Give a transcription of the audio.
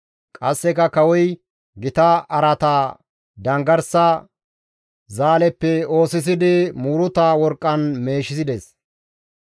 Qasseka kawoy gita araata danggarsa zaaleppe oosisidi muuruta worqqan meeshides.